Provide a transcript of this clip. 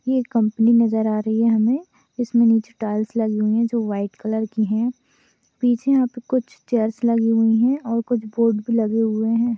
ये कंपनी नजर आ रही है हमे इसमे कुछ टाइल्स लगी हुई है जो व्हाइट कलर की है पीछे यहा पे कुछ चेयर्स लगी हुई है और कुछ बोर्ड लगे हुए है।